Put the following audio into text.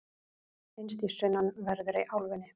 finnst í sunnanverðri álfunni